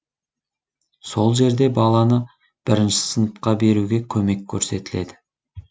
сол жерде баланы бірінші сыныпқа беруге көмек көрсетіледі